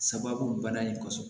Sababu bana in ko fɔ